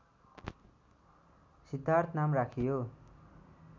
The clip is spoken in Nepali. सिद्धार्थ नाम राखियो